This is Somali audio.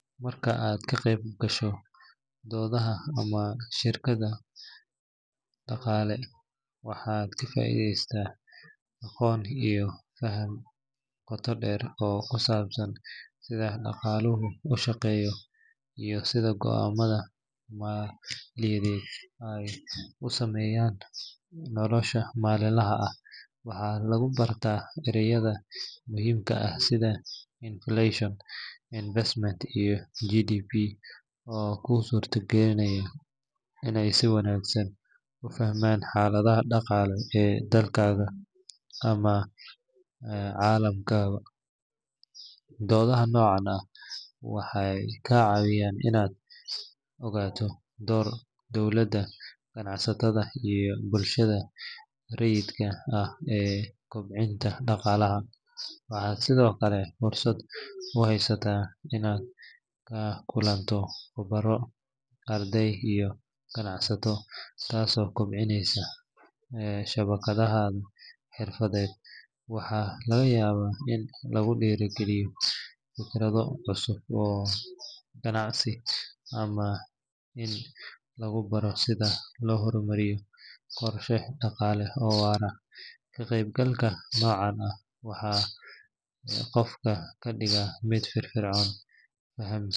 Marka aad ka qayb gasho doodaha ama shirarka dhaqaale, waxaad ka faa’iidaysataa aqoon iyo faham qoto dheer oo ku saabsan sida dhaqaaluhu u shaqeeyo iyo sida go’aamada maaliyadeed ay u saameeyaan nolosha maalinlaha ah. Waxaa lagu bartaa ereyada muhiimka ah sida inflation, investment, iyo GDP oo kuu suurtagelinaya inaad si wanaagsan u fahanto xaaladda dhaqaale ee dalkaaga ama caalamkaba. Doodaha noocan ah waxay kaa caawiyaan inaad ogaato doorka dawladda, ganacsatada, iyo bulshada rayidka ah ee kobcinta dhaqaalaha. Waxaad sidoo kale fursad u haysataa inaad la kulanto khubaro, arday, iyo ganacsato taasoo kobcinaysa shabakaddaada xirfadeed. Waxaa laga yaabaa in lagu dhiirrigeliyo fikrado cusub oo ganacsi ama in lagu baro sida loo horumariyo qorshe dhaqaale oo waara. Ka qaybgalka noocan ah wuxuu qofka ka dhigaa mid firfircoon, fahamsan.